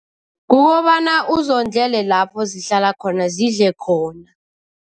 Kukobana uzondlele lapho zihlala khona, zidle khona.